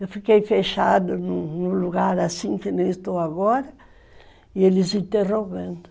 Eu fiquei fechada num lugar assim, que nem estou agora, e eles interrogando.